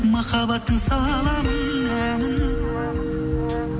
махаббаттың саламын әнін